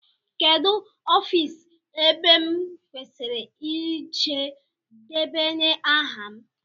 Kedụ ofiisi ebe m kwesịrị ịje debanye aha m?